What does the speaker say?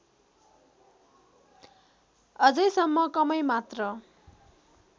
अझैसम्म कमै मात्र